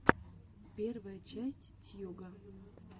первая часть тьюга